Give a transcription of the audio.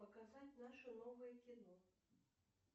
показать наше новое кино